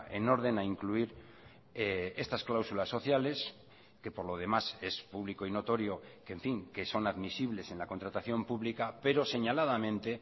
en orden a incluir estas cláusulas sociales que por lo demás es público y notorio que en fin que son admisibles en la contratación pública pero señaladamente